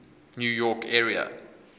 new york area